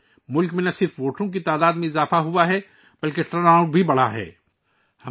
ملک میں نہ صرف رائے دہندگان کی تعداد میں اضافہ ہوا ہے بلکہ ٹرن آؤٹ میں بھی اضافہ ہوا ہے